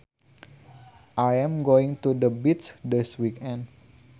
I am going to the beach this weekend